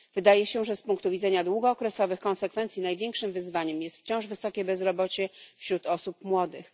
Wydaje się, że z punktu widzenia długookresowych konsekwencji największym wyzwaniem jest wciąż wysokie bezrobocie wśród osób młodych.